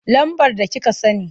Lambar da kika sani.